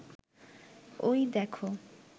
ওই দেখো